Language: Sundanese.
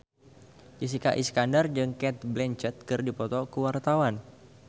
Jessica Iskandar jeung Cate Blanchett keur dipoto ku wartawan